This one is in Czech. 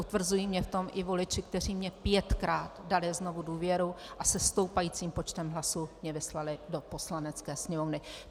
Utvrzují mě v tom i voliči, kteří mi pětkrát dali znovu důvěru a se stoupajícím počtem hlasů mě vyslali do Poslanecké sněmovny.